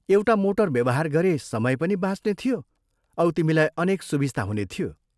एउटा मोटर व्यवहार गरे समय पनि बाँच्ने थियो औ तिमीलाई अनेक सुबिस्ता हुने थियो।